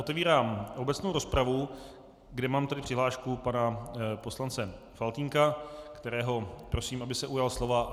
Otevírám obecnou rozpravu, kde mám tedy přihlášku pana poslance Faltýnka, kterého prosím, aby se ujal slova.